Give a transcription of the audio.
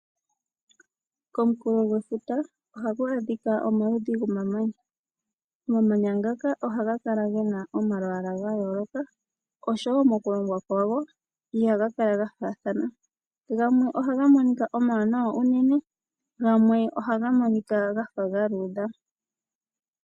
Komukulo gwefuta ohaku adhika omaludhi gomamanya, omamanya ngaka ohaga kala gena omalwala ga yooloka nomokulongwa kwago ihaga kala ga fathana gamwe ohaga monika omawanawa unene gamwe ohaga monika gafa ga luudha.